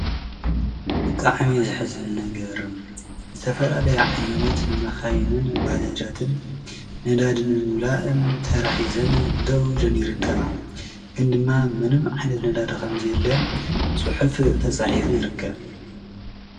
ብጣዕሚ ዘሕዝን ነገርን ዝተፈላለየ ዓይነት መካይንን ባጃጃትን ነዳዲ ንምምላእን ተራ ሒዘን ደው ኢለን ይርከባ። ግን ድማ ምንም ዓይነት ነዳዲ ከም ዘየለ ፅሑፍ ተፃሒፉ ይርከብ።